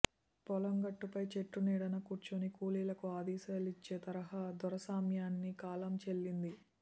పొలం గట్టుపై చెట్టు నీడన కూర్చుని కూలీలకు ఆదేశాలిచ్చే తరహా దొరస్వామ్యానికి కాలం చెల్లింది